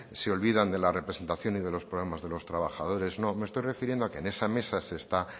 se olvidan de la representación y de los problemas de los trabajadores no me estoy refiriendo a que en esa mesa que está